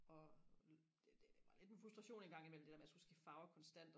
og det det var lidt en frustration engang imellem det der med og skulle skifte farve konstant